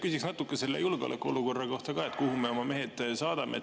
Küsiks natuke selle julgeolekuolukorra kohta ka, et kuhu me oma mehed saadame.